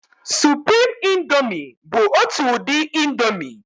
Suprimi índomi bụ ọtu udi índomi.